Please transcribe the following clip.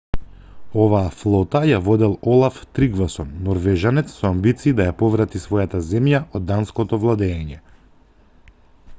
оваа флота ја водел олаф тригвасон норвежанец со амбиции да ја поврати својата земја од данското владеење